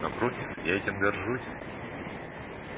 напротив я этим горжусь